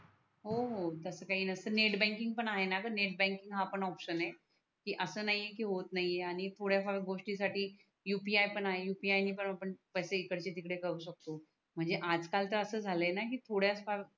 हो हो तस काही नसत नेट बँकिंग आहे णा ग नेट बँकिंग हा पण ऑप्शन आहे की अस नाही का होत नाही आहे आणि थोड्या फार गोष्टी साठी UPI आहे UPI णी पण आपण पैसे इकडचे तिकडे करू शकतो म्हणजे आज कालत अस झालय णा की थोड्या फार